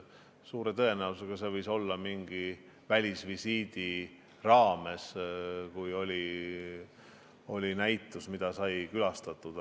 Suure tõenäosusega oli see mingi välisvisiidi raames, kui sai üht näitust külastatud.